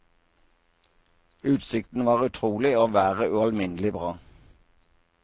Utsikten var utrolig og været ualminnelig bra.